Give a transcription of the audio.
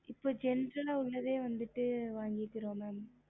இப்போ general குள்ளது வேணும் ம